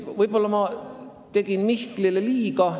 Võib-olla tegin ma Mihklile liiga.